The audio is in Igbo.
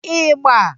Ịgba